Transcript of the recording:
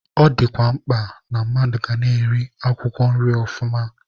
Ọ dịkwa mkpa na-mmadụ ga na-eri akwụkwọ nri ọfụma.